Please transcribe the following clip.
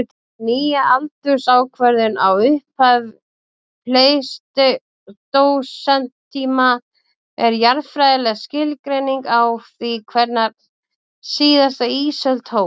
Þessi nýja aldursákvörðun á upphafi pleistósentíma er jarðfræðileg skilgreining á því hvenær síðasta ísöld hófst.